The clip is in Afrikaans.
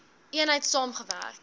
eenheid saam gewerk